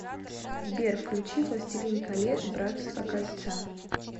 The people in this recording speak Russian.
сбер включи властелин колец братство кольца